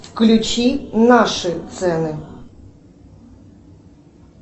включи наши цены